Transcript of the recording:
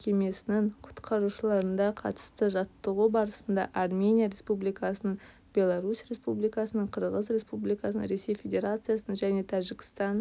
мекемесінің құтқарушыларыда қатысты жаттығу барысында армения республикасының беларусь республикасының қырғыз республикасының ресей федерациясының және тәжікстан